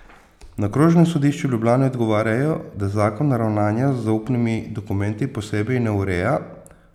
Na okrožnem sodišču v Ljubljani odgovarjajo, da zakon ravnanja z zaupnimi dokumenti posebej ne ureja.